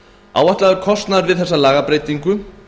áætlaður kostnaður við þessa lagabreytingu